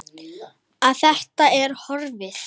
Að það er horfið!